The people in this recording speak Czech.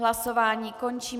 Hlasování končím.